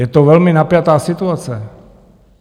Je to velmi napjatá situace.